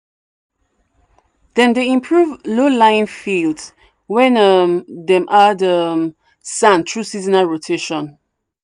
dem dey improve low-lying fields when um dem add um sand through seasonal rotation."